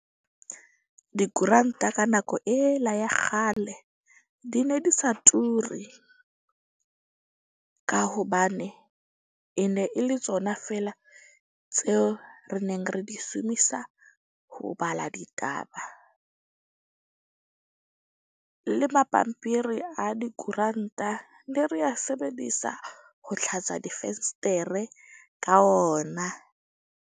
Dikoranta ka nako ela ya kgale di ne di sa turi. Ka hobane e ne e le tsona fela tseo re neng re di shumisa ho bala ditaba, le mapampiri a dikoranta ne re a sebedisa ho tlhatswa difestere ka ona.